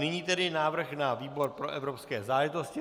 Nyní tedy návrh na výbor pro evropské záležitosti.